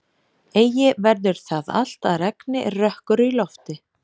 Eigi verður það allt að regni er rökkur í lofti.